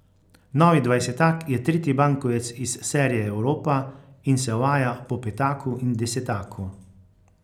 Novi dvajsetak je tretji bankovec iz serije Evropa in se uvaja po petaku in desetaku.